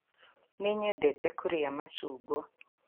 Nĩ nyendete kũrĩa macungwa